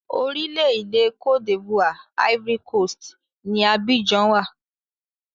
Orílẹ̀-èdè Cote D'ivoire (Ivory Coast) ni Abidjan wà.